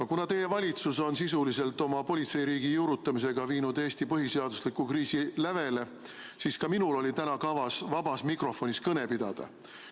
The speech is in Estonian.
No kuna teie valitsus on sisuliselt politseiriigi juurutamisega viinud Eesti põhiseadusliku kriisi lävele, siis ka minul oli täna kavas vabas mikrofonis kõne pidada.